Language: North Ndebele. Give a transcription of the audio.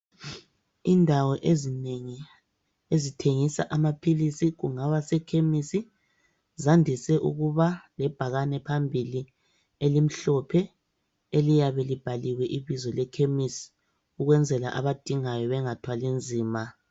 Indawo ezinengi ezithengisa amaphilisi kungaba sekhemisi .Zandise ukuba lebhakani phambili elimhlophe eliyabelibhaliwe ibizo lekhemisi ukwenzela abadingayo bengathwali nzima.